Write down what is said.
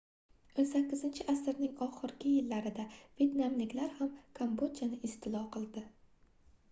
18-asrning oxirgi yillarida vetnamliklar ham kambodjani istilo qildi